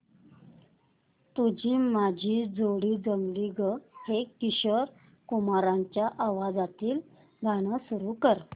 तुझी माझी जोडी जमली गं हे किशोर कुमारांच्या आवाजातील गाणं सुरू कर